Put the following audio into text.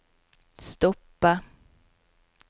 stoppe